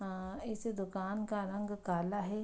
अं इस दुकान का रंग काला है।